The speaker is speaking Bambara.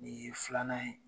Nin ye filanan ye